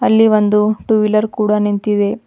ಇಲ್ಲಿ ಒಂದು two wheeler ಕೂಡ ನಿಂತಿದೆ.